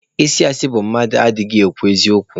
Ịsị asị bụ mmadụ adịghị ekwu eziokwu.